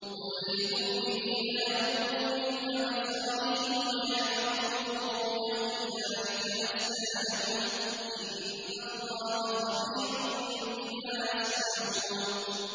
قُل لِّلْمُؤْمِنِينَ يَغُضُّوا مِنْ أَبْصَارِهِمْ وَيَحْفَظُوا فُرُوجَهُمْ ۚ ذَٰلِكَ أَزْكَىٰ لَهُمْ ۗ إِنَّ اللَّهَ خَبِيرٌ بِمَا يَصْنَعُونَ